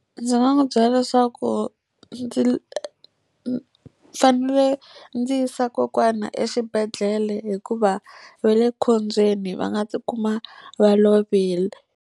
Ndzi nga n'wi byela leswaku ndzi fanele ndzi yisa kokwana exibedhlele hikuva va le khombyeni va nga tikuma va lovile.